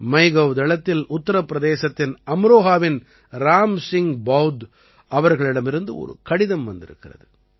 MyGov தளத்தில் உத்தர பிரதேசத்தின் அம்ரோஹாவின் ராம் சிங் பௌத் அவர்களிடமிருந்து ஒரு கடிதம் வந்திருக்கிறது